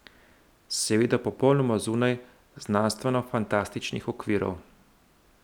Seveda popolnoma zunaj znanstvenofantastičnih okvirov.